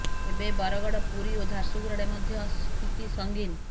ଏବେ ବରଗଡ ପୁରୀ ଓ ଝାରସୁଗୁଡାରେ ମଧ୍ୟ ସ୍ଥିତି ସଙ୍ଗିନ